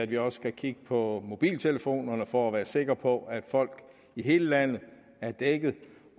vi også skal kigge på mobiltelefonerne for at være sikre på at folk i hele landet er dækket